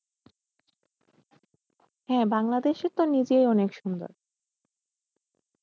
হ্যাঁ বাংলাদেশে তো নিজেই অনেক সুন্দর।